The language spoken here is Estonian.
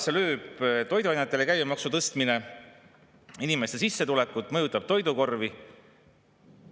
Kuidas lööb toiduainete käibemaksu tõstmine inimeste sissetulekut ja mõjutab toidukorvi?